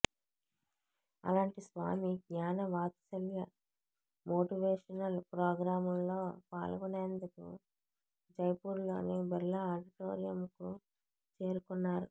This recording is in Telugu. అలాంటి స్వామి జ్ఞానవాత్సల్య మోటివేషనల్ ప్రోగ్రామ్లో పాల్గొనేందుకు జైపూర్లోని బిర్లా ఆడిటోరియంకు చేరుకున్నారు